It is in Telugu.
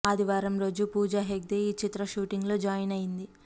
ఆదివారం రోజు పూజ హెగ్డే ఈ చిత్ర షూటింగ్ లో జాయిన్ అయింది